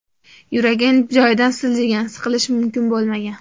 Yuragim joyidan siljigan, siqilish mumkin bo‘lmagan.